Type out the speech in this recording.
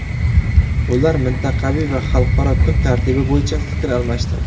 Ular mintaqaviy va xalqaro kun tartibi bo‘yicha fikr almashdi.